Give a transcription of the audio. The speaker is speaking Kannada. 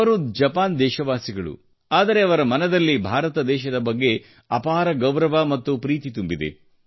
ಅವರು ಜಪಾನ್ ದೇಶವಾಸಿಗಳು ಆದರೆ ಅವರ ಮನದಲ್ಲಿ ಭಾರತ ದೇಶದ ಬಗ್ಗೆ ಅಪಾರ ಗೌರವ ಮತ್ತು ಪ್ರೀತಿ ತುಂಬಿದೆ